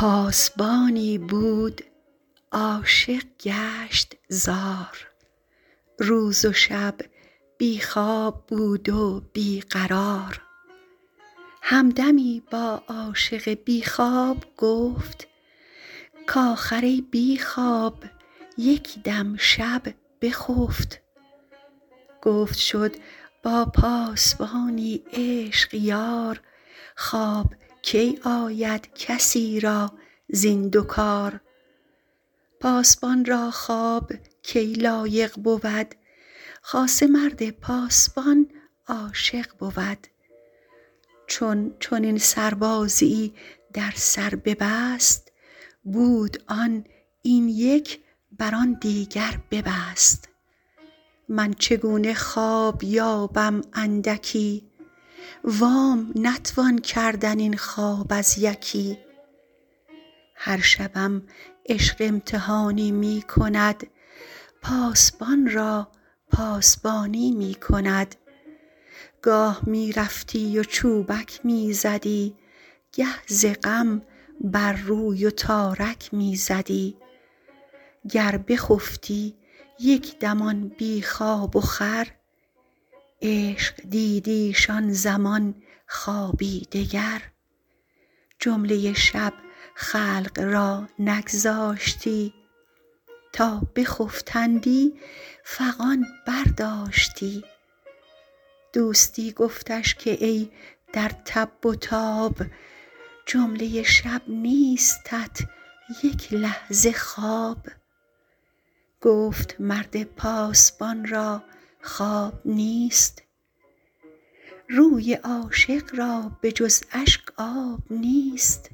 پاسبانی بود عاشق گشت زار روز و شب بی خواب بود و بی قرار هم دمی با عاشق بی خواب گفت کاخر ای بی خواب یک دم شب بخفت گفت شد با پاسبانی عشق یار خواب کی آید کسی را زین دو کار پاسبان را خواب کی لایق بود خاصه مرد پاسبان عاشق بود چون چنین سربازیی در سر ببست بود آن این یک بر آن دیگر ببست من چگونه خواب یابم اندکی وام نتوان کردن این خواب از یکی هر شبم عشق امتحانی می کند پاسبان را پاسبانی می کند گاه می رفتی و چوبک می زدی گه ز غم بر روی و تارک می زدی گر بخفتی یک دم آن بی خواب و خور عشق دیدیش آن زمان خوابی دگر جمله شب خلق را نگذاشتی تا بخفتندی فغان برداشتی دوستی گفتش که ای در تب و تاب جمله شب نیستت یک لحظه خواب گفت مرد پاسبان را خواب نیست روی عاشق را به جز اشک آب نیست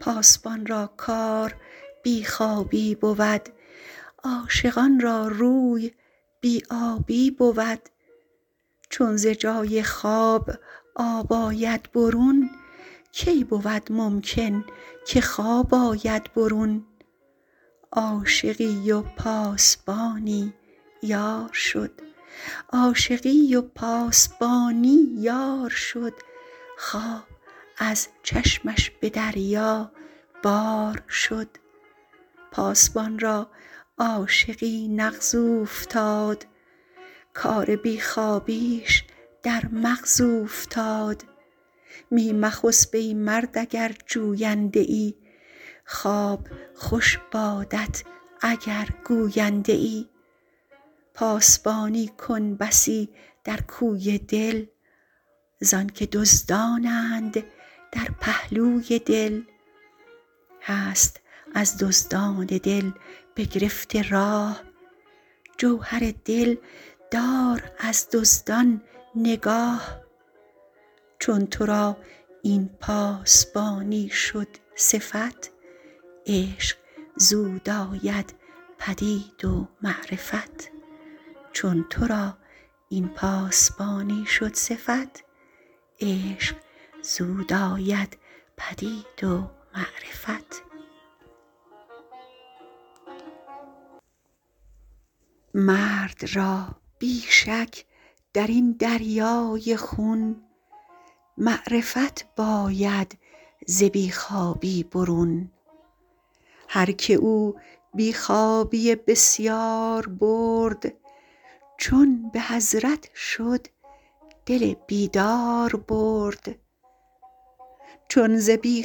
پاسبان را کار بی خوابی بود عاشقان را روی بی آبی بود چون ز جای خواب آب آید برون کی بود ممکن که خواب آید برون عاشقی و پاسبانی یارشد خواب ز چشمش به دریا بار شد پاسبان را عاشقی نغز اوفتاد کار بی خوابیش در مغز اوفتاد می مخسب ای مرد اگر جوینده ای خواب خوش بادت اگر گوینده ای پاسبانی کن بسی در کوی دل زانک دزدانند در پهلوی دل هست از دزدان دل بگرفته راه جوهر دل دار از دزدان نگاه چون ترا این پاسبانی شد صفت عشق زود آید پدید و معرفت مرد را بی شک درین دریای خون معرفت باید ز بی خوابی برون هرک او بی خوابی بسیار برد چون به حضرت شد دل بیداربرد چون ز بی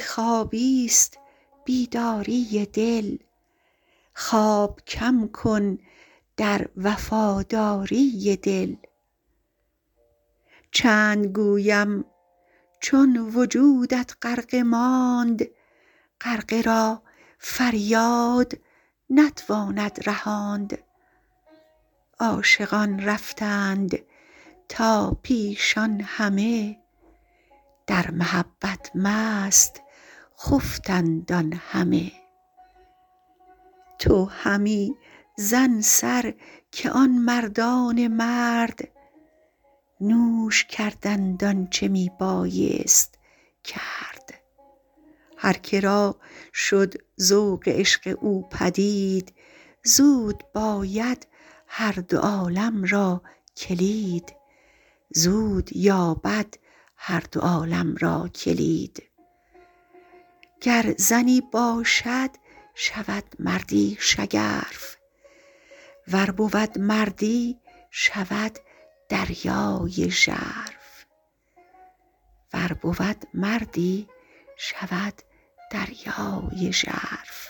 خوابیست بیداری دل خواب کم کن در وفاداری دل چند گویم چون وجودت غرقه ماند غرقه را فریاد نتواند رهاند عاشقان رفتند تا پیشان همه در محبت مست خفتند آن همه تو همی زن سر که آن مردان مرد نوش کردند آنچ می بایست کرد هر که را شد ذوق عشق او پدید زود باید هر دو عالم را کلید گر زنی باشد شود مردی شگرف ور بود مردی شود دریای ژرف